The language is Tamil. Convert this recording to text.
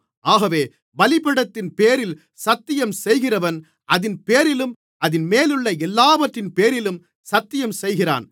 ஆகவே பலிபீடத்தின்பேரில் சத்தியம்செய்கிறவன் அதின்பேரிலும் அதின்மேலுள்ள எல்லாவற்றின்பேரிலும் சத்தியம்செய்கிறான்